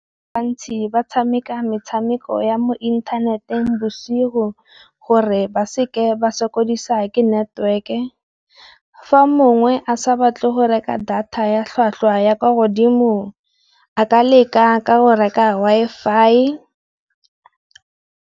Bantsi ba tshameka metshameko ya mo inthaneteng bosigo, gore ba seke ba sokodisa ke network-e. Fa mongwe a sa batle go reka data ya tlhwatlhwa ya kwa godimo a ka leka ka go reka Wifi.